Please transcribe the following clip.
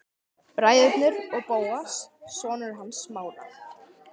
Bræðurnir og Bóas, sonur hans Smára.